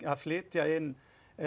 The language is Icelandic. að flytja inn